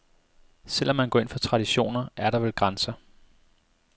Selv om man går ind for traditioner, er der vel grænser.